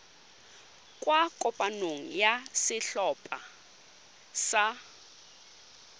kwa kopanong ya setlhopha sa